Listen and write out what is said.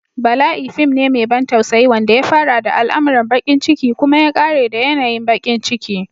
Bala'i fim ne mai ban tausayi wanda ya fara da al'amuran bakin ciki kuma ya ƙare da yanayin bakin ciki.